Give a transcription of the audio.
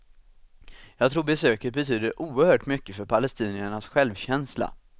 Jag tror besöket betyder oerhört mycket för palestiniernas självkänsla.